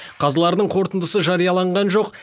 қазылардың қорытындысы жарияланған жоқ